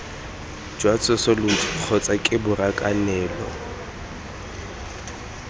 jwa tsosoloso kgotsa ke borakanelo